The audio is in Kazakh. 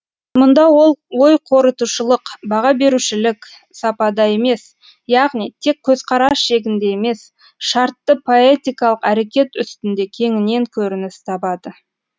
мұнда ол ой қорытушылық баға берушілік сапада емес яғни тек көзқарас шегінде емес шартты поэтикалық әрекет үстінде кеңінен көрініс табады